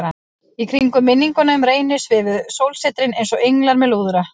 Í kringum minninguna um Reyni svifu sólsetrin einsog englar með lúðra.